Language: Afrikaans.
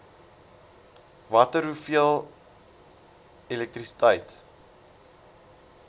watter hoeveel elektrisiteit